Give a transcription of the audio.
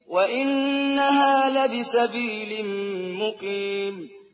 وَإِنَّهَا لَبِسَبِيلٍ مُّقِيمٍ